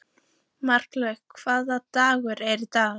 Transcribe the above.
Marlaug, hvaða dagur er í dag?